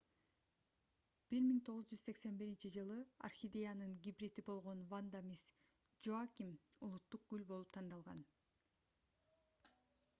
1981-жылы орхидеянын гибриди болгон ванда мисс джоаким улуттук гүл болуп тандалган